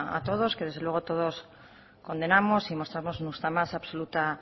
a todos que desde luego todos condenamos y mostramos nuestra más absoluta